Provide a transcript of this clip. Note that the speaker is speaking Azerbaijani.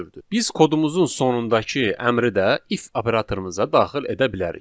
Biz kodumuzun sonundakı əmri də if operatorumuza daxil edə bilərik.